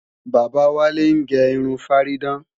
Bàbá Wálé ń ge irun fárídán